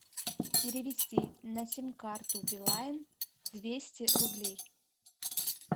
перевести на сим карту билайн двести рублей